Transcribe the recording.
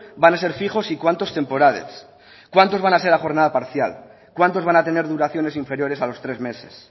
van a ser fijos y cuántos temporales cuántos van a ser a jornada parcial cuántos van a tener duraciones inferiores a los tres meses